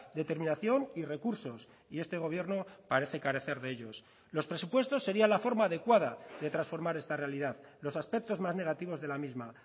determinación y recursos y este gobierno parece carecer de ellos los presupuestos sería la forma adecuada de transformar esta realidad los aspectos más negativos de la misma